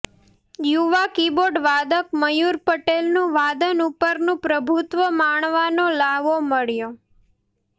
યુવા કિબોર્ડ વાદક મયુર પટેલનુ વાદન ઉપરનું પ્રભુત્વ માણવાનો લ્હાવો મળ્યો